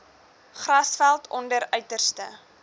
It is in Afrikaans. grasveld onder uiterste